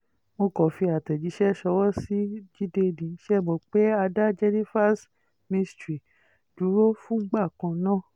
mo kàn fi àtẹ̀jíṣẹ́ ṣọwọ́ sí jíde nì ṣe é mọ̀ pé a dá jenifas mystery dúró fúngbà kan ná